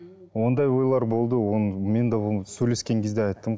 ондай ойлар болды оны мен де оны сөйлескен кезде айттым